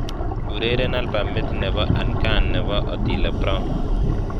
Ureren albamit nebo angkan nebo Otile Brown